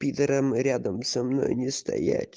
пидорам рядом со мной не стоять